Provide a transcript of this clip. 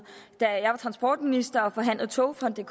da jeg var transportminister og forhandlede togfonden